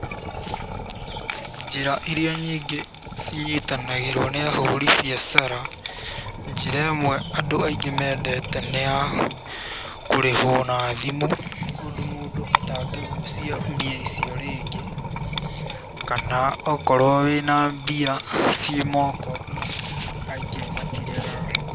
Njĩra iria nyingĩ cinyitanagĩrwo nĩ ahũri biacara: njĩra ĩmwe andũ aingĩ mendete nĩ ya kũrĩhwo na thimũ ũndũ mũndũ atangĩgucia mbia icio rĩngĩ, kana okorwo wĩna mbia ciĩ moko aingĩ matiregaga.